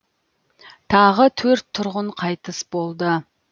тағы төрт тұрғын қайтыс болды